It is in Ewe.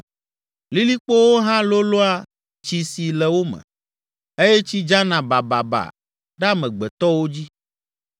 lilikpowo hã lolõa tsi si le wo me, eye tsi dzana bababa ɖe amegbetɔwo dzi.